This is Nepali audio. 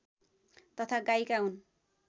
तथा गायिका हुन्